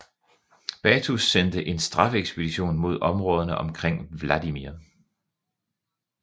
Batu sendte en straffeekspedition mod områderne omkring Vladimir